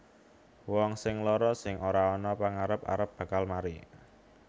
Wong sing lara sing ora ana pagarep arep bakal mari